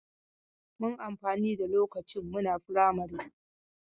Mun amfani da lokacin muna firamari.